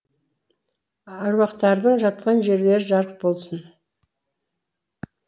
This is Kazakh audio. аруақтардың жатқан жерлері жарық болсын